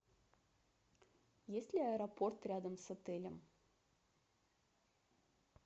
есть ли аэропорт рядом с отелем